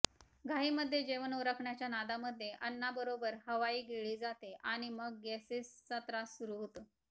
घाईमध्ये जेवण उरकण्याच्या नादामध्ये अन्नाबरोबर हवाही गिळली जाते आणि मग गॅसेस चा त्रास सुरु होतो